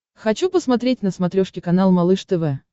хочу посмотреть на смотрешке канал малыш тв